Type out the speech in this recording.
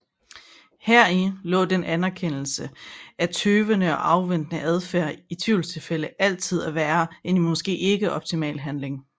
Heri lå den erkendelse af tøvende og afventende adfærd i tvivlstilfælde altid er værre end en måske ikke optimal handling